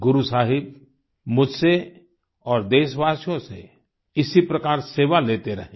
गुरु साहिब मुझसे और देशवासियों से इसी प्रकार सेवा लेते रहें